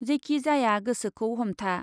जेखि जाया गोसोखौ हमथा ।